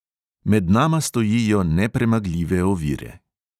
Med nama stojijo nepremagljive ovire.